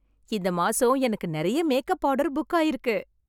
இந்த மாசம் எனக்கு நிறைய மேக்கப் ஆர்டர் புக் ஆயிருக்கு.